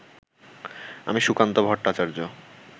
আমি সুকান্ত ভট্টাচার্য